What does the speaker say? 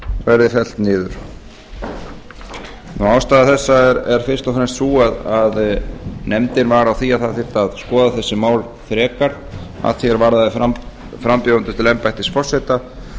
verði fellt niður ástæða þessa er fyrst og fremst sú að nefndin var á því að það þyrfti að skoða þessi mál frekar að því er varðandi frambjóðendur til embættis forseta